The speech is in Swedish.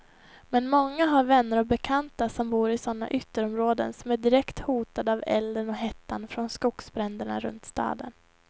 Men många har vänner och bekanta som bor i sådana ytterområden som är direkt hotade av elden och hettan från skogsbränderna runt staden.